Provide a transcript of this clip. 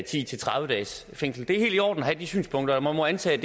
ti til tredive dages fængsel det er helt i orden at have de synspunkter og man må antage